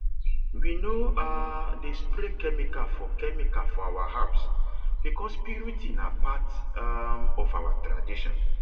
we no um dey spray chemical for chemical for our herbs because purity na part um of our tradition